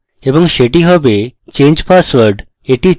এবং সেটি হবে change password